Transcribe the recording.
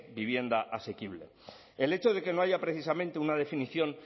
vivienda asequible el hecho de que no haya precisamente una definición